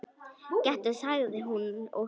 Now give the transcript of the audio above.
Gettu sagði hún og hló.